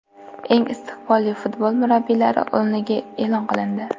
Eng istiqbolli futbol murabbiylari o‘nligi e’lon qilindi.